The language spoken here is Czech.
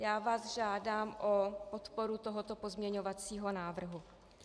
Já vás žádám o podporu tohoto pozměňovacího návrhu.